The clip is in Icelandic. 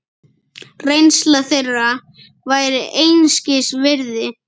Reynsla þeirra væri einskis virði.